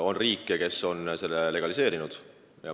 On riike, kes on selle legaliseerinud.